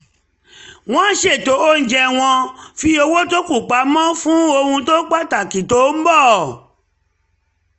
wọ́n ṣètò oúnjẹ wọ́n fi owó tó kù pamọ́ fún um ohun pàtàkì tó ń bọ̀